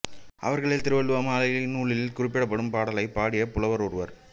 அவர்களில் திருவள்ளுவமாலை நூலில் குறிப்பிடப்படும் பாடலைப் பாடிய புலவர் ஒருவர்